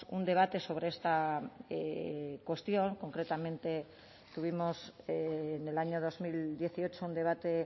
un debate sobre esta cuestión concretamente tuvimos en el año dos mil dieciocho un debate